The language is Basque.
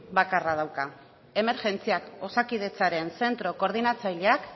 bakarra dauka emergentziak osakidetzaren zentro koordinatzaileak